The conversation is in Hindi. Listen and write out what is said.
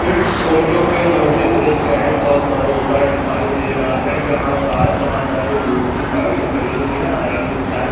इस फोटो पे मुझे एक बैंक ऑफ़ बड़ौदा दिखाई दे रहा है जहाँ पर बहुत सारे लोग की गाड़ी खड़ी हुई है और एक इंसान।